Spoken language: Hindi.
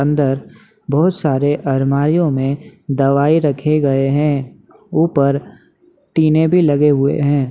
अंदर बहुत सारे अलमारियों में दवाई रखे गए है ऊपर टिने भी लगे हुए है।